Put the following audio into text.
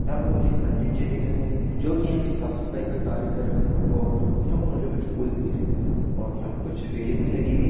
यहा पर मुझे एक पंडित जी दिखाई दे रहे जो की आगे साफ सफ़ाई का कार्य कर रहे और यहा पे कुछ रेलिंग भी लगी हुई है।